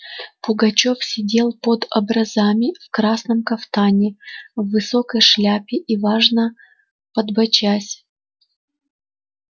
пугачёв сидел под образами в красном кафтане в высокой шапке и важно подбочась